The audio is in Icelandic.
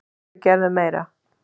Þau gerðu meira.